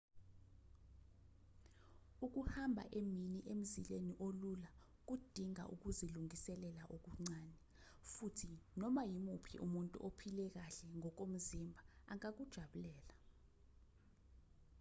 ukuhamba emini emzileni olula kudinga ukuzilungiselela okuncane futhi noma imuphi umuntu ophile kahle ngokomzimba angakujabulela